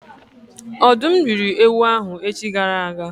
Ọ̀dụ́m rị́ri ewu ahụ echi gara aga